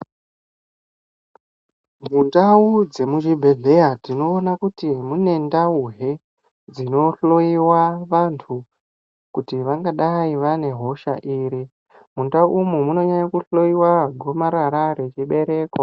Mundau dzemuchibhedhleya, tinoona kuti mune ndauhe, dzinohloiwa vanthu, kuti vangadai vane hosha iri? Mundau umu munonyanya kuhloiwa gomarara rechibereko.